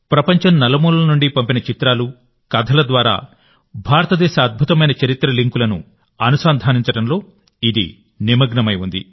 ప్రపంచం నలుమూలల నుండి పంపిన చిత్రాలు కథల ద్వారా భారతదేశ అద్భుతమైన చరిత్ర లింక్లను అనుసంధానించడంలో ఇది నిమగ్నమై ఉంది